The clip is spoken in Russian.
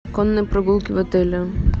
конные прогулки в отеле